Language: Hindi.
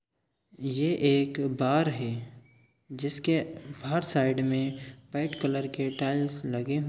ये एक बार है जिसके बाहर साइड में वाइट कलर के टाइल्स लगे--